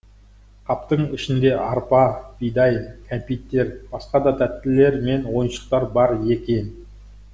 қаптың ішінде арпа бидай кәмпиттер басқа да тәттілер мен ойыншықтар бар екен